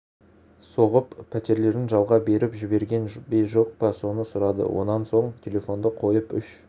соғып пәтерлерін жалға беріп жіберген бе жоқ па соны сұрады онан соң телефонды қойып үш